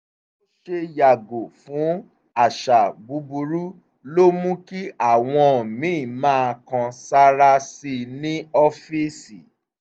bó ṣe yàgò fún àṣà búburú ló mú kí àwọn míì máa kan sáárá sí i ní ọ́fíìsì